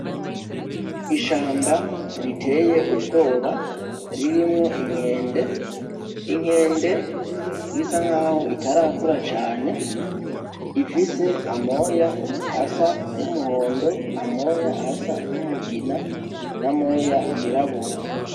Ishamba riteye ubwoba ririmwo inkende, inkende bisa nkaho itarakura cane, ifise amoya asa n'umuhondo; amoya asa n'umugina; n'amoya yirabura.